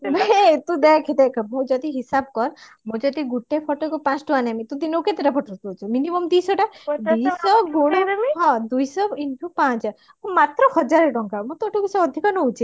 ଆବେ ତୁ ଦେଖ ଦେଖ ମୁଁ ଯଦି ହିସାବ କର ମୁଁ ଯଦି ଗୋଟେ photo କୁ ପାଞ୍ଚଟଙ୍କା ନେମି ତ ତୁ ଦିନକୁ କେତେଟା photo ଉଠଉଛୁ minimum ଦୁଇଶହ ଟା ହଁ ଦୁଇଶହ into ପାଞ୍ଚ ମାତ୍ର ହଜାର ଟଙ୍କା ମୁଁ ତୋଠୁ ବେଶି ଆଧିକ ନଉଛେ